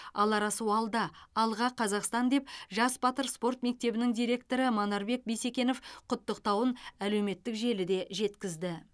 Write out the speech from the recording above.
алар асу алда алға қазақстан деп жас батыр спорт мектебінің директоры манарбек бисекенов құттықтауын әлеуметтік желіде жеткізді